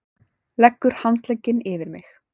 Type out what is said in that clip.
Leggur handlegginn yfir mig.